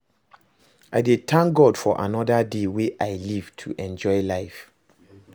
i dey thank God for anoda day wey i live to enjoy life.